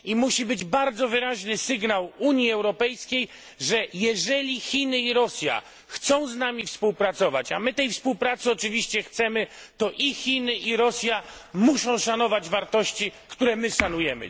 Musi być bardzo wyraźny sygnał Unii Europejskiej, że jeżeli Chiny i Rosja chcą z nami współpracować a my tej współpracy oczywiście chcemy to i Chiny, i Rosja muszą szanować wartości, które my szanujemy.